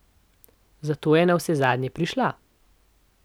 Zato je navsezadnje prišla.